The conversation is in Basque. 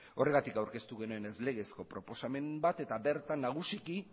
horregatik aurkeztu genuen ez legezko proposamen bat eta bertan